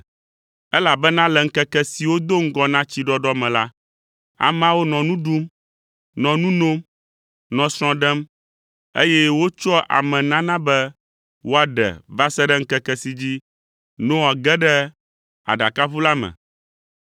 Elabena le ŋkeke siwo do ŋgɔ na tsiɖɔɖɔ me la, ameawo nɔ nu ɖum, nɔ nu nom, nɔ srɔ̃ ɖem, eye wotsɔa ame nana be woaɖe va se ɖe ŋkeke si dzi Noa ge ɖe aɖakaʋu la me,